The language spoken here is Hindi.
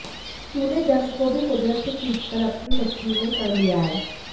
तूने जन्म को भी कुदरत से खींच कर अपनी मुट्ठी में कर लिया है